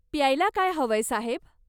प्यायला काय हवंय, साहेब?